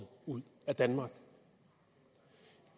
ud af danmark